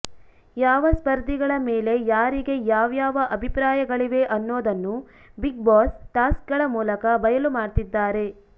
ಯಾವ ಸ್ಪರ್ಧಿಗಳ ಮೇಲೆ ಯಾರಿಗೆ ಯಾವ್ಯಾವ ಅಭಿಪ್ರಾಯಗಳಿವೆ ಅನ್ನೋದನ್ನು ಬಿಗ್ಬಾಸ್ ಟಾಸ್ಕ್ಗಳ ಮೂಲಕ ಬಯಲು ಮಾಡ್ತಿದ್ದಾರೆ